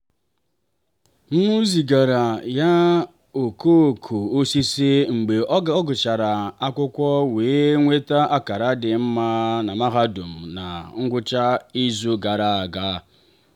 m zigara ya okooko osisi mgbe ọ gụsịrị akwụkwọ wee nweta akara dị mma na mahadum na ngwụcha izu gara aga.